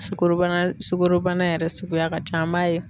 Sukorobana sukoro bana yɛrɛ suguya ka ca an b'a ye